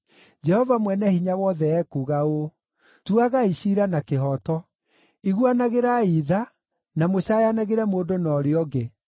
“Jehova Mwene-Hinya-Wothe ekuuga ũũ: ‘Tuagai ciira na kĩhooto; iguanagĩrai tha na mũcaayanagĩre mũndũ na ũrĩa ũngĩ.